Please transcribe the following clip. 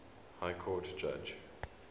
high court judge